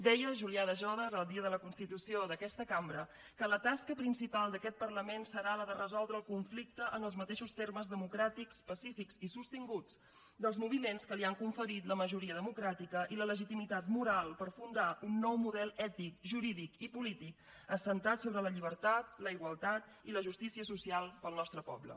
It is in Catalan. deia julià de jòdar el dia de la constitució d’aquesta cambra que la tasca principal d’aquest parlament serà la de resoldre el conflicte en els mateixos termes democràtics pacífics i sostinguts dels moviments que li ha conferit la majoria democràtica i la legitimitat moral per fundar un nou model ètic jurídic i polític assentat sobre la llibertat la igualtat i la justícia social per al nostre poble